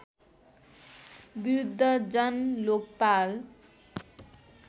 विरुद्ध जन लोकपाल